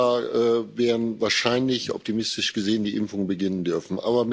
Im Frühjahr werden wahrscheinlich, optimistisch gesehen, die Impfungen beginnen dürfen.